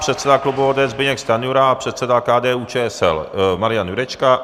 Předseda klubu ODS Zbyněk Stanjura a předseda KDU-ČSL Marian Jurečka.